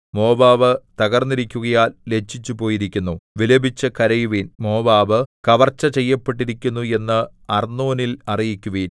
Moab തകർന്നിരിക്കുകയാൽ ലജ്ജിച്ചു പോയിരിക്കുന്നു വിലപിച്ചു കരയുവിൻ മോവാബ് കവർച്ചചെയ്യപ്പെട്ടിരിക്കുന്നു എന്ന് അർന്നോനിൽ അറിയിക്കുവിൻ